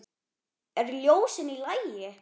Eru ljósin í lagi?